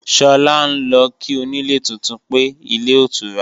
Sọlá ń lọ kí onílé tuntun pé, ilé otura